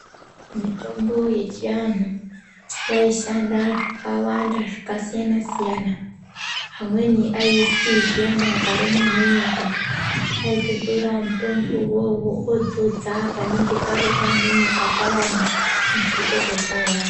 Mitombo yechiantu yaishanda zvakawanda zvakasiyana siyana vamweni aiti zviyani akarumwe nenyoka aitotora mutombo wona iwowo odzodza panenge parumwa nenyoka payani muntu otopora.